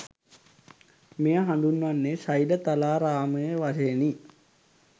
මෙය හඳුන්වන්නේ ශෛලතලාරාමය වශයෙනි.